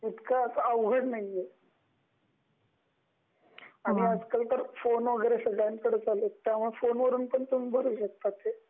इतक अवघड नाही आहे, आणि आजकाल तर फोन वैगेरे सगळ्यांकडेच आले आहेत त्यामुळे फोनवरून पण तुम्ही भरु शकता ते सगळ्यांकडेच आले आहेत त्यामुळे फोनवरून पण तुम्ही भरु शकता ते